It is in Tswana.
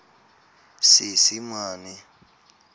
seesimane